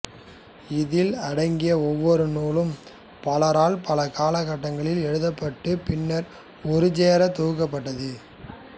இதில் அடங்கிய ஒவ்வொரு நூலும் பலரால் பல காலகட்டங்களில் எழுதப்பட்டுப் பின்னர் ஒருசேரத் தொகுக்கப்பட்டது